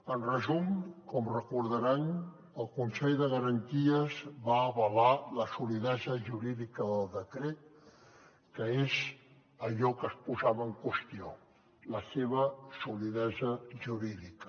en resum com recordaran el consell de garanties va avalar la solidesa jurídica del decret que és allò que es posava en qüestió la seva solidesa jurídica